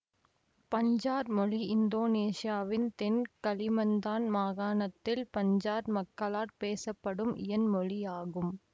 பஞ்சார் மொழி இந்தோனேசியாவின் தென் கலிமந்தான் மாகாணத்தில் பஞ்சார் மக்களாட் பேசப்படும் இயன் மொழியாகும்